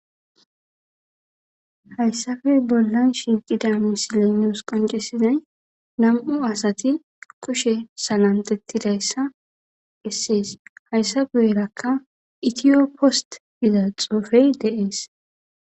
Hayssafe bollan shinqida misilenos qoncesizay nam'u asati kushe salantetidayssa essees hayssabuwerakka itiyo post izaxofey deees.